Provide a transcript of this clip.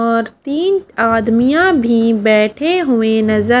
और तीन आदमियां भी बैठे हुए नजर--